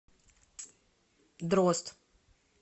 дрозд